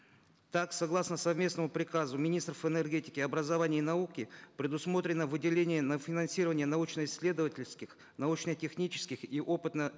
так согласно совместному приказу министров энергетики образования и науки предусмотрено выделение на финансирование научно исследовательских научно технических и опытно